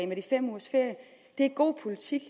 med de fem ugers ferie er god politik